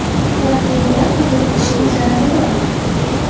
Proteinlar qabul qilishning zarari bormi?